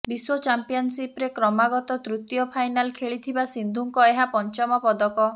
ବିଶ୍ୱ ଚାମ୍ପିଅନ୍ସିପ୍ରେ କ୍ରମାଗତ ତୃତୀୟ ଫାଇନାଲ୍ ଖେଳିଥିବା ସିନ୍ଧୁଙ୍କ ଏହା ପଞ୍ଚମ ପଦକ